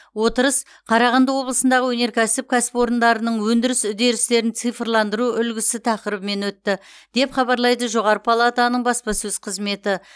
отырыс қарағанды облысындағы өнеркәсіп кәсіпорындарының өндіріс үдерістерін цифрландыру үлгісі тақырыбымен өтті деп хабарлайды жоғары палатаның баспасөз қызметі